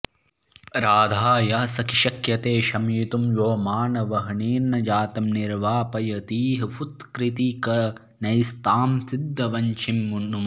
राधायाः सखि शक्यते शमयितुं यो मानवह्निर्न यातं निर्वापयतीह फुत्कृतीकणैस्तां सिद्धवंशीं नुमः